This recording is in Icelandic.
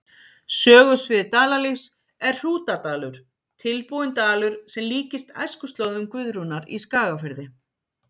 Sögusvið Dalalífs er Hrútadalur, tilbúinn dalur sem líkist æskuslóðum Guðrúnar í Skagafirði.